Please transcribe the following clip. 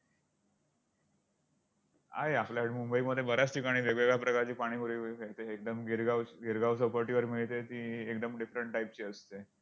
आहे आपल्याकडे मुंबईमध्ये बऱ्याच ठिकाणी वेगवेगळ्या प्रकारची पाणीपुरी मिळू शकते. एकदम गिरगाव~गिरगाव चौपाटीवर मिळते ती एकदम different type ची असते.